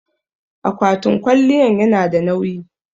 akwatin kwaliyan yanada nawyi